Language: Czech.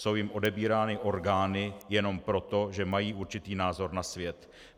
Jsou jim odebírány orgány jenom proto, že mají určitý názor na svět.